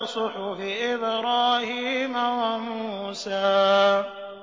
صُحُفِ إِبْرَاهِيمَ وَمُوسَىٰ